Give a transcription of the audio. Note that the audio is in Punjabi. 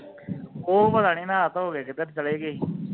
ਉਹ ਪਤਾ ਨਹੀਂ ਨਹਾ ਧੋ ਕੇ ਕਿੱਧਰ ਚਲੇ ਗਿਆ ਈ